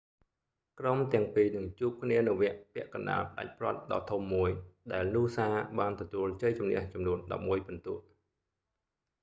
ក្រុមទាំងពីរនឹងជួបគ្នានៅវគ្គពាក់កណ្តាលផ្តាច់ព្រ័ត្រដ៏ធំមួយ ដែលនូសា noosa បានទទួលជ័យជម្នះចំនួន 11 ពិន្ទុ